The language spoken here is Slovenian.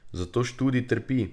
Zato študij trpi.